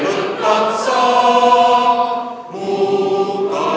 Palun kõigil tõusta!